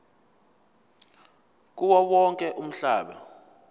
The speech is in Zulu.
kuwo wonke umhlaba